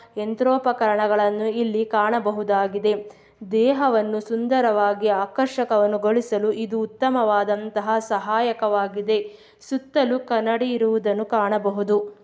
ಯಂತ್ರೋಪಕರಣ ಗಳನ್ನು ಇಲ್ಲಿ ಕಾಣಬಹುದಾಗಿದೆ. ದೇಹವನ್ನು ಸುಂದರವಾಗಿ ಆಕರ್ಷಕವನ್ನು ಗಳಿಸಲು ಇದು ಉತ್ತಮವಾದಂಥಹ ಸಹಾಯಕ ವಾಗಿದೆ. ಸುತ್ತಲೂ ಕನ್ನಡಿ ಇರುವುದನ್ನು ಕಾಣಬಹುದು.